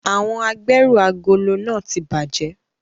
Awọn agberu agolo nàa ti bajẹ